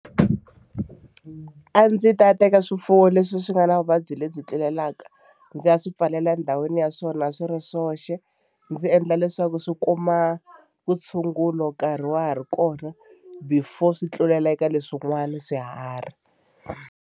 A ndzi ta teka swifuwo leswi swi nga na vuvabyi lebyi tlulelaka ndzi ya swi pfalela endhawini ya swona swi ri swoxe ndzi endla leswaku swi kuma vutshungulo nkarhi wa ha ri kona before swi tlulela eka leswin'wana swiharhi.